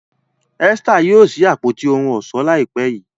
Esther yóò sí Àpótí ohun ọ̀ṣọ́ láìpé.